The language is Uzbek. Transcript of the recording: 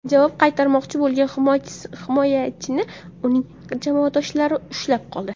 Javob qaytarmoqchi bo‘lgan himoyachini uning jamoadoshlari ushlab qoldi.